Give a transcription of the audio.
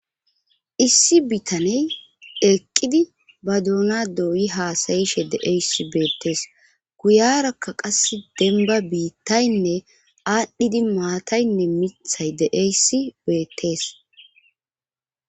issi bitaney eqqidi ba duuna dooyi haasayishe de7eyssi beettees guyarakka qasse denba biittaynne aadhdhidi maataynne mithay de7eyssi beettees